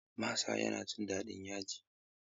Masa yana jin daɗin yaji.